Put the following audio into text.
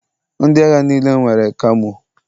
Ndị agha niile nwere kamo.